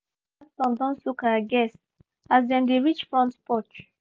sudden thunderstorm don soak our guests as dem dey reach front porch